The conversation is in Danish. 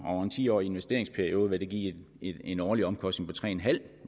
og over en tiårig investeringsperiode vil det give en årlig omkostning på tre